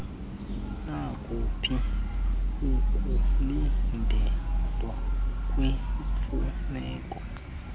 nakuphi ukulindelwa kwiimfuneko